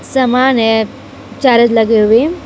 सामान्य चार्ज लगे हुए।